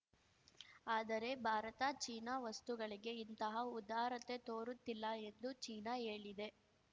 ಆದರೆ ಭಾರತ ಚೀನಾ ವಸ್ತುಗಳಿಗೆ ಇಂತಹ ಉದಾರತೆ ತೋರುತ್ತಿಲ್ಲ ಎಂದು ಚೀನಾ ಹೇಳಿದೆ